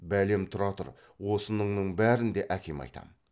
бәлем тұра тұр осыныңның бәрін де әкеме айтам